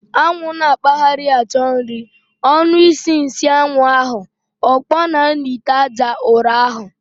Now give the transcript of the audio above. Anwụ n'akpagharị achọ nri, ọnu isi nsịanwu ahu, okponaa n'ite aja ụrọ ahu.